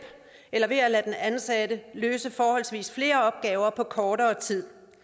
eller ved at lade den ansatte løse forholdsvis flere opgaver på kortere tid